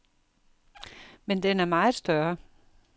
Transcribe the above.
Men den er meget større.